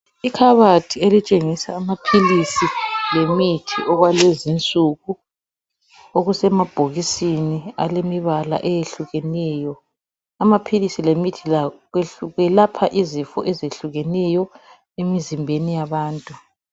Ikhabathi elitshengisa amaphilisi lemithi okwalezinsuku okusemabhokisini alemibala eyehlukeneyo. Amaphilisi lemithi kwelapha izifo ezehlukeneyo emizimbeni yabantu.